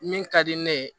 Min ka di ne ye